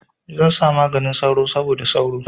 Zan sa maganin sauro saboda sauro.